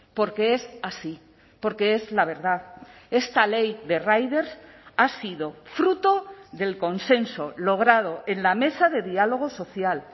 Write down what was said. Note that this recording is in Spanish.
porque es así porque es la verdad esta ley de riders ha sido fruto del consenso logrado en la mesa de diálogo social